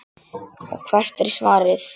Og hvert er svarið?